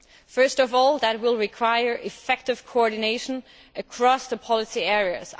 First of all, it will require effective coordination across policy areas.